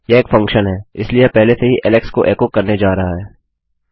यह एक फंक्शन है इसलिए यह पहले से ही एलेक्स को एको करने जा रहा है